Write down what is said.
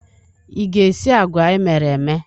Ị ga-esi agwa emere eme?